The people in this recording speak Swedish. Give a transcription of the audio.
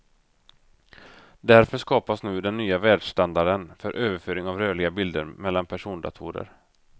Därför skapas nu den nya världsstandarden för överföring av rörliga bilder mellan persondatorer.